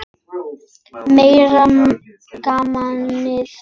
Meira gamanið það!